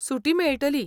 सुटी मेळटली.